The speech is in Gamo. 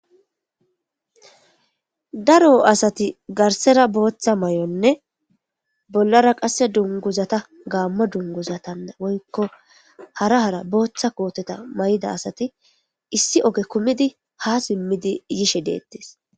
Daro asati garsera botha mayonne bolara qase dunguzata gamo dunguzata woyko hara hara botha koteta mayida asati issi oge kumidi ha simidi yishe detes.